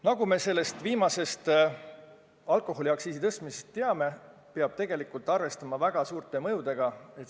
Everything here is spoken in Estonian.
Nagu me selle viimase alkoholiaktsiisi tõstmisega seoses teame, peab tegelikult arvestama väga suurte mõjudega.